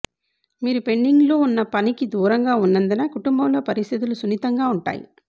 మీరు పెండింగ్లో ఉన్న పనికి దూరంగా ఉన్నందున కుటుంబంలో పరిస్థితులు సున్నితంగా ఉంటాయి